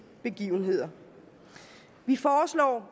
begivenheder vi foreslår